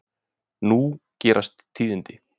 Nú gerast tíðindi.